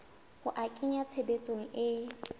ho a kenya tshebetsong e